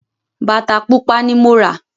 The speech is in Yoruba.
Bàtà Pupa ni mo rà